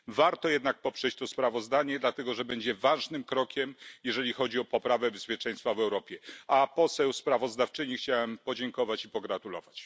Warto jednak poprzeć to sprawozdanie dlatego, że będzie ważnym krokiem, jeżeli chodzi o poprawę bezpieczeństwa w Europie, a posłance sprawozdawczyni chciałem podziękować i pogratulować.